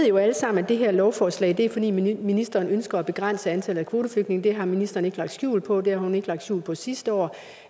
jo alle sammen at det her lovforslag er fordi ministeren ønsker at begrænse antallet af kvoteflygtninge det har ministeren ikke lagt skjul på det har hun ikke lagt skjul på sidste år